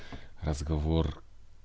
разговор